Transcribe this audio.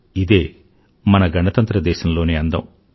ఇదే మన గణతంత్ర దేశంలోని అందం